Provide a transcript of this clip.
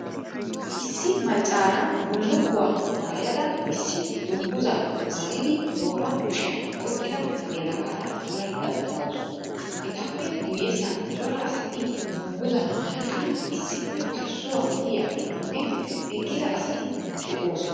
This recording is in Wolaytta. Issi maccaara bullukuwaa maayada issi dunguzaa maayidi tooraa kushiyan oyqqida yelagaara duraydda dawusu. Etappe guyessan cora asati dunguzaa maayidi issippe parssuwaa uyiyaageetinne eqqida asatti de'oosona.